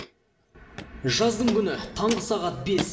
жаздың күні таңғы сағат бес